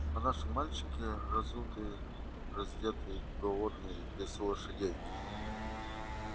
а наши мальчики разутые раздетые голодные без лошадей